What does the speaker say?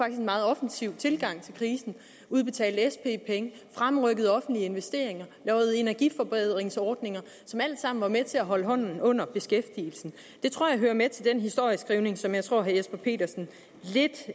en meget offensiv tilgang til krisen udbetalte sp penge fremrykkede offentlige investeringer lavede energiforbedringsordninger som alt sammen var med til at holde hånden under beskæftigelsen det tror jeg hører med til den historieskrivning som jeg tror herre jesper petersen lidt